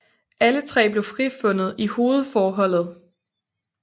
Alle tre blev frifundet i hovedforholdet